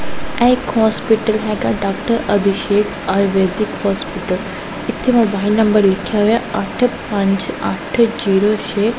ਇਹ ਇੱਕ ਹੋਸਪਿਟਲ ਹੈਗਾ ਡਾਕਟਰ ਅਭਿਸ਼ੇਕ ਆਯੁਰਵੈਦਿਕ ਹੋਸਪਿਟਲ ਇੱਥੇ ਮੋਬਾਇਲ ਨੰਬਰ ਲਿਖਿਆ ਹੋਇਐ ਅੱਠ ਪੰਜ ਅੱਠ ਜ਼ੀਰੋ ਛੇ --